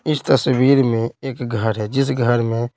इस तस्वीर में एक घर है जिस घर में--